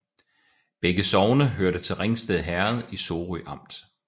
Begge sogne hørte til Ringsted Herred i Sorø Amt